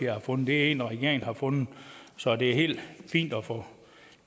har fundet det er en regeringen har fundet så det er helt fint at få